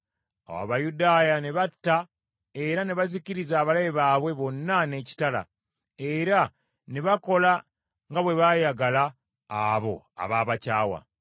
Awo Abayudaaya ne batta era ne bazikiriza abalabe baabwe bonna n’ekitala, era ne bakola nga bwe baayagala abo abaabakyawa.